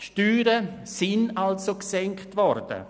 Es ist also so, dass die Steuern gesenkt wurden.